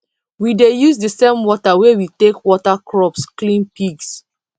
we dey use the same water wey we take water crops clean pigs